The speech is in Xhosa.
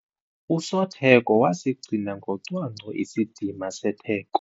Usotheko wasigcina ngocwangco isidima setheko.